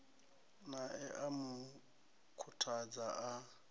nae a mu khuthadza a